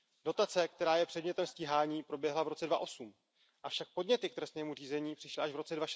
Dotace, která je předmětem stíhání, proběhla v roce 2008, avšak podněty k trestnímu řízení přišly až v roce